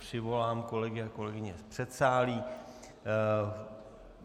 Přivolám kolegy a kolegyně z předsálí.